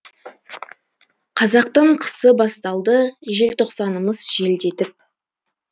қазақтың қысы басталды желтоқсанымыз желдетіп